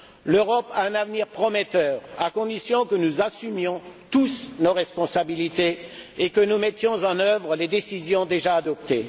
L'Europe a un avenir prometteur à condition que nous assumions tous nos responsabilités et que nous mettions en œuvre les décisions déjà adoptées.